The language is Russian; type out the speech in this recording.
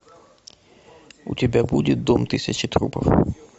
у тебя будет дом тысячи трупов